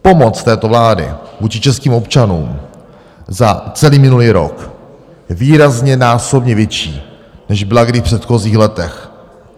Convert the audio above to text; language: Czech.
Pomoc této vlády vůči českým občanům za celý minulý rok je výrazně násobně větší, než byla kdy v předchozích letech.